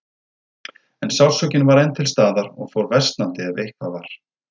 En sársaukinn var enn til staðar og fór versnandi, ef eitthvað var.